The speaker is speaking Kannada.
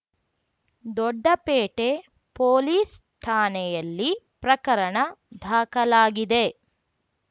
ದೊಡ್ಡಪೇಟೆ ಪೊಲೀಸ್‌ ಠಾಣೆಯಲ್ಲಿ ಪ್ರಕರಣ ದಾಖಲಾಗಿದೆ